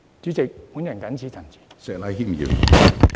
主席，我謹此陳辭。